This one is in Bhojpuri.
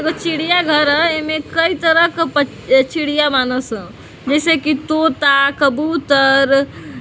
ईगो चिड़िया घर ह एमे कई तरह क पछ अ चिड़िया बानसन जैसे कि तोता कबूतर --